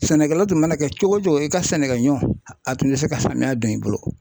Sɛnɛkɛla tun mana kɛ cogo o cogo i ka sɛnɛkɛɲɔ a tun tɛ se ka samiya don i bolo.